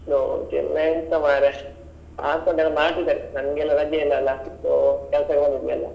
ಗೌಜಿ ಎಲ್ಲ ಎಂತ ಮಾರ್ರೆ ಆಗ್ತದೆ ಉಂಟು ಎಲ್ಲಾ ಮಾಡ್ತಿದಾರೆ, ನಂಗೆ ಎಲ್ಲ ರಜೆ ಇಲ್ಲ ಅಲ್ಲ so ಕೆಲಸಕ್ಕೆ ಬಂದಿದ್ವಿ ಎಲ್ಲ.